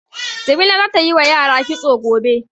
Jamila za ta yi wa yara kitso gobe.